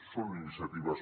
són iniciatives